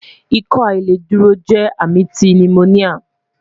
Ikọaláìdúró jẹ ami ti pneumonia